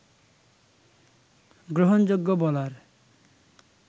গ্রহণযোগ্য বলার